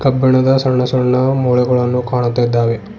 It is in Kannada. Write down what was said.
ಕಬ್ಬಿಣದ ಸಣ್ಣ ಸಣ್ಣ ಮೊಳೆಗಳನ್ನ ಕಾಣುತ್ತಯಿದ್ದಾವೆ.